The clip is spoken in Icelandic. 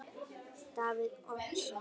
Davíð Oddsson: Ha?